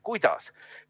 Kuidas?